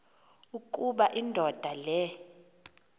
ukuba indoda le